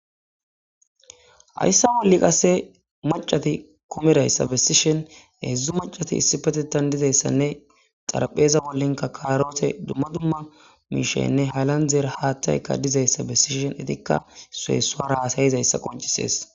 Hayssa wolli qasse macati komerayssa bessishen hedzdzu macati issi petetan dizayssanne xarpheeza bollenka kaarote dumma dumma miishenne halan dzeer haattayka dizayssa bessishen itikka suhessuara asayizayssa qoncisees.